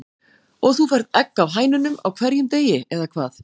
Og þú færð egg af hænunum á hverjum degi, eða hvað?